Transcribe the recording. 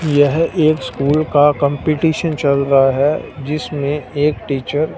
यह एक स्कूल का कंपटीशन चल रहा है जिसमें एक टीचर --